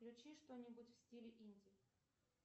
включи что нибудь в стиле инди